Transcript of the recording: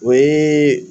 O ye